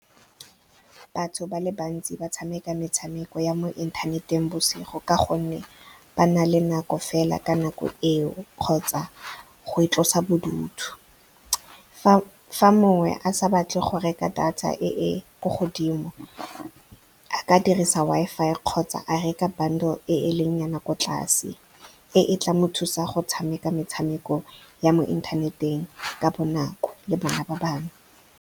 Batho ba le bantsi ba tshameka metshameko ya mo inthaneteng bosigo ka gonne ba na le nako fela ka nako eo kgotsa go itlosa bodutu. Fa mongwe a sa batle go reka data e ko godimo, a ka dirisa Wi-Fi kgotsa a reka bundle e e leng nyana ko tlase, e e tla mo thusa go tshameka metshameko ya mo inthaneteng ka bonako le bana ba bangwe.